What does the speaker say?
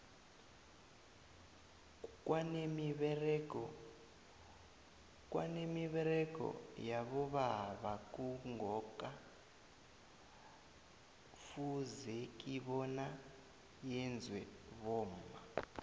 kwanemiberego yabobaba kungoka fuzeki bona yenzwe bomma